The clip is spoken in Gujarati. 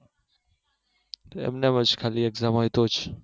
એમ ને એમ જ ખાલી exam હોય તો જ